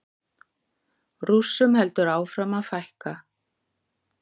Rússum heldur áfram að fækka